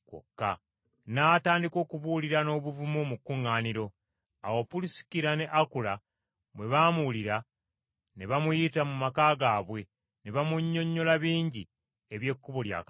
N’atandika okubuulira n’obuvumu mu kkuŋŋaaniro. Awo Pulisikira ne Akula bwe baamuwulira, ne bamuyita mu maka gaabwe ne bamunnyonnyola bingi eby’Ekkubo lya Katonda.